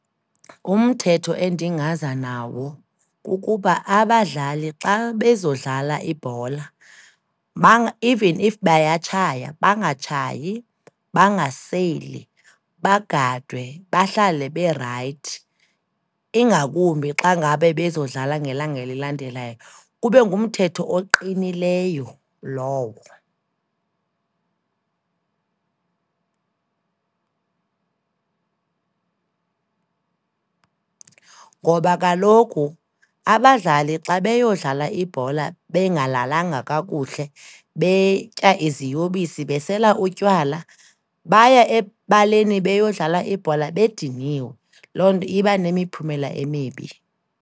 Ngumthetho endingaza nawo, kukuba abadlali xa bezodlala ibhola, even if bayatshaya, bangatshayi, bangaseli. Bagadwe, bahlale berayithi, ingakumbi xa ngabe bezodlala ngelanga elilandelayo, kube ngumthetho oqinileyo lowo. Ngoba kaloku abadlali xa beyodlala ibhola bengalalanga kakuhle, betya iziyobisi, besela utywala, baya ebaleni beyodlala ibhola bediniwe, loo nto iba nemiphumela emibi.